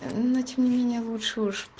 начни меня лучше